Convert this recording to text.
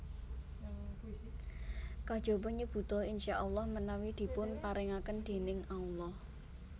Kejaba nyebuta InsyaaAlah menawi dipun parengaken déning Allah